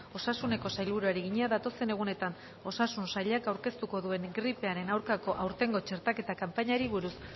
osasuneko sailburuari egina datozen egunetan osasun sailak aurkeztuko duen gripearen aurkako aurtengo txertaketa kanpainari buruz